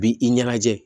Bi i ɲɛnajɛ